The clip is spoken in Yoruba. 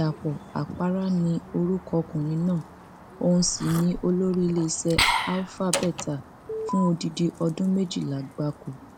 dápò àpárá ni orúkọ ọkùnrin náà òun sì ni olórí iléeṣẹ alpha beta fún odidi ọdún méjìlá gbáko